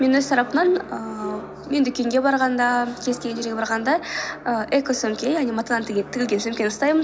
мен өз тарапымнан ііі мен дүкенге барғанда кез келген жерге барғанда і эко сөмке яғни матадан тігілген сөмке ұстаймын